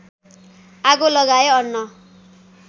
आगो लगाए अन्न